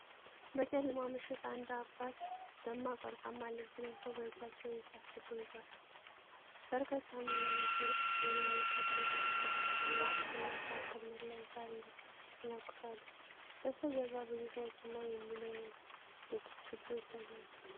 በጨለማ ምሽት አንድ አባት ደማቅ ወርቃማ ልብስ ለብሰው በእጃቸው የእሳት ችቦ ይዘዋል። በርካታ ምዕመናን ዙሪያውን ከበው በተሰበሰበው የእንጨትና ሣር ክምር ላይ እሳት ይለኩሳሉ። በስተጀርባ ብዙ ሰዎችና የሚነድድ ችቦ ይታያል።